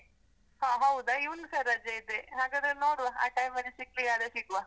ಹಾ ಹೌದಾ? ಇವಂಗುಸ ರಜೆ ಇದೆ, ಹಾಗಾದ್ರೆ ನೋಡುವ ಆ time ಅಲ್ಲಿ ಸಿಗ್ಲಿಕ್ಕಾದ್ರೆ ಸಿಗುವ.